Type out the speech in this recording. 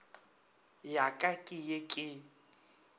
ya ka ke ye ke